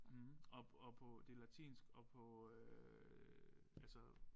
Hm og og på det latinsk og på øh altså